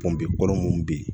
kɔrɔ mun be yen